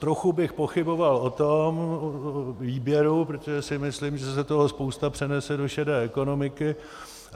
Trochu bych pochyboval o tom výběru, protože si myslím, že se toho spousta přenese do šedé ekonomiky.